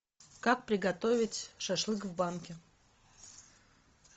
как приготовить шашлык в банке